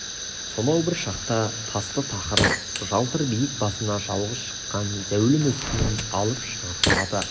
сонау бір шақта тасты тақыр жалтыр биік басына жалғыз шыққан зәулім өскен алып шынар құлады